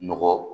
Nɔgɔ